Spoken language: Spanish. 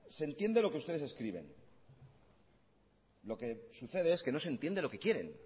se entiende lo que ustedes escriben lo que sucede es que no se entiende lo que quieren